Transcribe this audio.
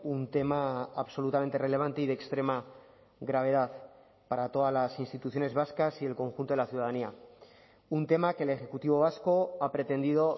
un tema absolutamente relevante y de extrema gravedad para todas las instituciones vascas y el conjunto de la ciudadanía un tema que el ejecutivo vasco ha pretendido